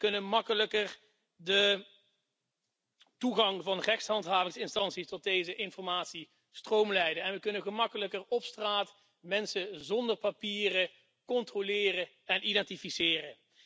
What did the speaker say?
We kunnen gemakkelijker de toegang van rechtshandhavingsinstanties tot deze informatie stroomlijnen en we kunnen gemakkelijker op straat mensen zonder papieren controleren en identificeren.